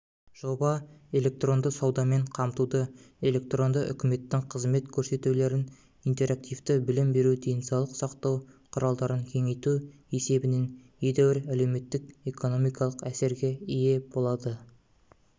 жоба электронды саудамен қамтуды электронды үкіметтің қызмет көрсетулерін интерактивті білім беру денсаулық сақтау құралдарын кеңейту есебінен едәуір әлеуметтік-экономикалық әсерге ие болады